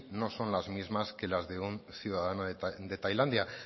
no son las mismas que las de un ciudadano de tailandia